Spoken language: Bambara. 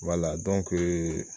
ee